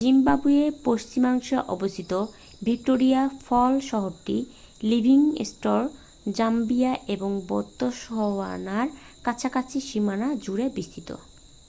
জিম্বাবুয়ের পশ্চিমাংশে অবস্থিত ভিক্টোরিয়া ফল শহরটি লিভিংস্টোন জাম্বিয়া এবং বোতসওয়ানার কাছাকাছি সীমানা জুড়ে বিস্তৃত